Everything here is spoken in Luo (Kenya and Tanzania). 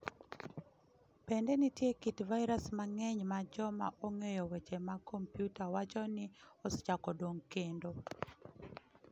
Bende nitie kit vairas mang'eny ma joma ong'eyo weche mag kompiuta wacho ni osechako dongo kendo.